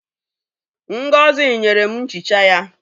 Ngozi nyere m nchicha ya.